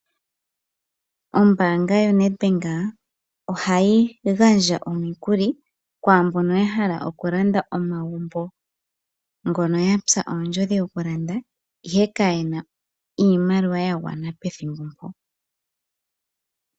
Ombaanga yonedbank ohayi gandja omukuli kwaa mbono ya hala okulanda omagumbo ngoka yatsa ondjodhi okulanda ihe ka yena iimaliwa ya gwana pethimbo mpoka.